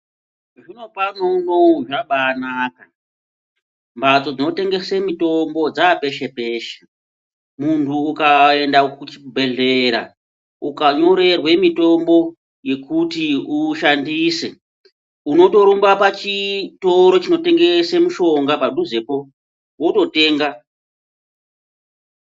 Zvinopano unowu zvabaanaka. Mphatso dzinotengese mitombo dzaapeshe-peshe. Muntu ukaenda kuchibhedhlera, ukanyorerwe mitombo yekuti uishandise, unotorumba pachitoro chinotengese mishonga padhuzepo, wototenga.